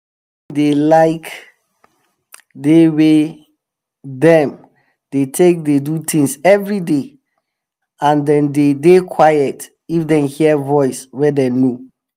chicken dey like di wey dem dey take do tins everyday and dem dey dey quiet if dem hear voice wey dem know.